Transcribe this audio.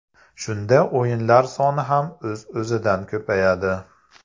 Shunda o‘yinlar soni ham o‘z-o‘zidan ko‘payadi.